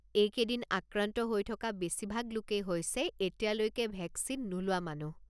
এইকেইদিন আক্ৰান্ত হৈ থকা বেছিভাগ লোকেই হৈছে এতিয়ালৈকে ভেকচিন নোলোৱা মানুহ।